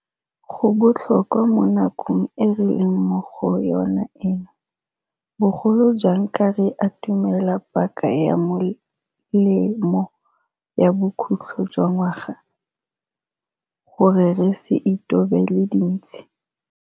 Go botlhokwa mo nakong e re leng mo go yona eno, bogolo jang ka re atumela paka ya melemo ya bokhutlho jwa ngwaga, gore re se itobele dintshi.